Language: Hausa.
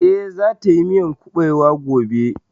Eh, za ta yi miyan kuɓewa gobe